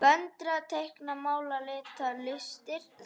Föndra- teikna- mála- lita- listir